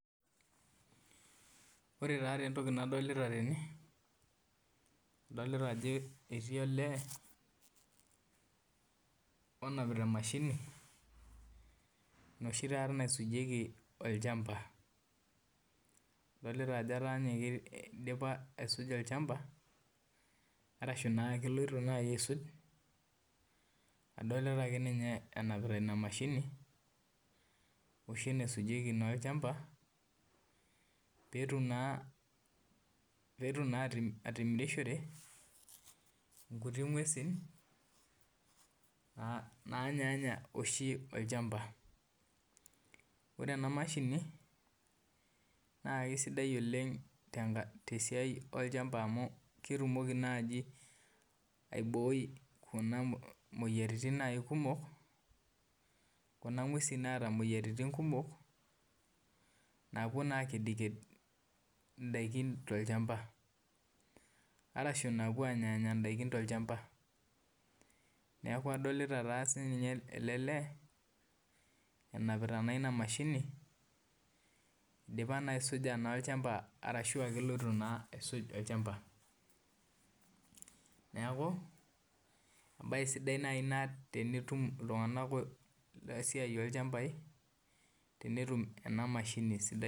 Ore taa entoki nadolita tene adolita ajo etii olee onamita emashini enoshi naisujieki olchamba adolta ajo idipa aisuka olchamba ashu keloito nai aisuk adolita ake nye enapita inamashini oshi naisujieki olchamba petum naa atimirishore nkuti ngwesi nanyaaanya oshi olchamba ore enamashini na kesidai oleng tesiai olchamba amu ketumoki nai aiboi kuna moyiaritin kumok kuna ngwesi naata imoyiaritin kumok napuo na akedked indakin tolchamba arashu nanya ndakin tolchamba neaku adolta na elelee enapita na enamashini indipa na aisuja olchamba ashu eloito aisum olchamba neaku embae sidai nai ina tenetum ltunganak lolchambai tenetum enamashini sidai.